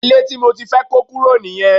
Ilé tí mo ti fẹ́ kó kúrò nìyẹn